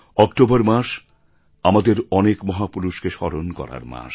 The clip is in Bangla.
অক্টোবর মাস আমাদের অনেক মহাপুরুষকে স্মরণ করার মাস